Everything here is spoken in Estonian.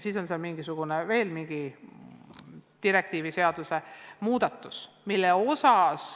seal oli veel mingisugune direktiiv – seaduse muudatus.